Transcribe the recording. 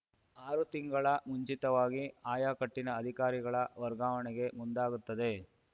ಆರು ತಿಂಗಳ ಮುಂಚಿತವಾಗಿ ಆಯಕಟ್ಟಿನ ಅಧಿಕಾರಿಗಳ ವರ್ಗಾವಣೆಗೆ ಮುಂದಾಗುತ್ತದೆ